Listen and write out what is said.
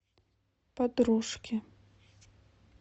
подружки